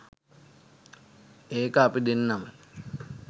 ඒක අපි දෙන්නම